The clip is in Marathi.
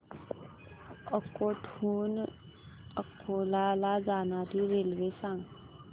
अकोट हून अकोला ला जाणारी रेल्वे सांग